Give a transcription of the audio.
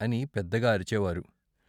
' అని పెద్దగా అరిచేవారు.